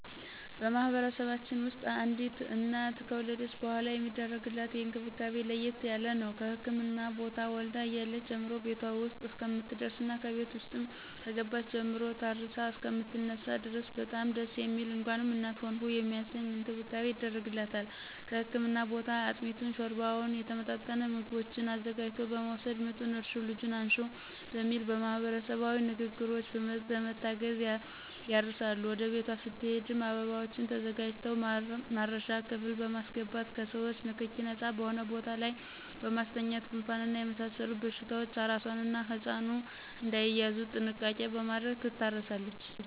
በማህበረሰባችን ውስጥ አዲስ እናት ከወለደች በሗላ የሚደረግላት እንክብካቤ ለየት ያለ ነው። ከህክምና ቦታ ወልዳ እያለች ጀምሮ ቤቷ ውስጥ እስከምትደርስና ከቤት ውስጥም ከገባች ጀምሮ ታርሳ እሰከምትነሳ ድረስ በጣም ደስ የሚል እንኳንም እናት ሆንሁ የሚያሰኝ እንክብካቤ ይደረግላታል ከህክምና ቦታ አጥሚቱን: ሾርባውና የተመጣጠኑ ምግቦችን አዘጋጅቶ በመወሰድ ምጡን እርሽው ልጁን አንሽው በሚል ማህበረሰባዊ ንግግሮች በመታገዝ ያርሳሉ ወደ ቤቷ ስትሄድም አበባዎች ተዘጋጅተው ማረሻ ክፍል በማሰገባት ከሰዎቾ ንክኪ ነጻ በሆነ ቦታ ላይ በማስተኛት ጉንፋንና የመሳሰሉት በሽታዎች አራሷና ህጻኑ እዳይያዙ ጥንቃቄ በማድረግ ትታረሳለች።